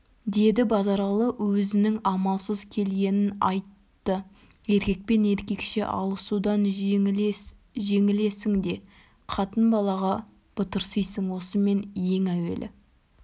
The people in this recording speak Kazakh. деді базаралы өзінің амалсыз келгенін айтты еркекпен еркекше алысудан жеңілесің де қатын-балаға батырсисың осымен ең әуелі